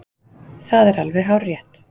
Það er alveg hárrétt.